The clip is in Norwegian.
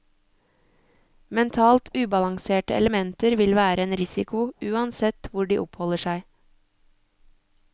Mentalt ubalanserte elementer vil være en risiko uansett hvor de oppholder seg.